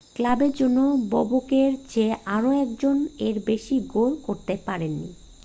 ক্লাবের জন্য বোবকের চেয়ে আর একজনও এর বেশি গোল করতে পারেনি